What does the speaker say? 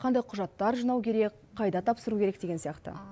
қандай құжаттар жинау керек қайда тапсыру керек деген сияқты